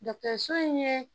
Dɔgitɔriso in ye